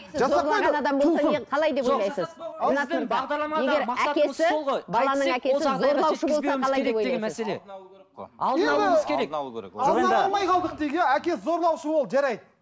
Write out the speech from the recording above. әкесі зорлаушы болды жарайды